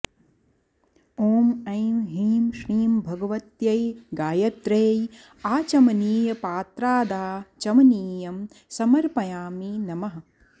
ॐ ऐ हीं श्रीं भगवत्यै गायत्र्यै आचमनीयपात्रादाचमनीयं समर्पयामि नमः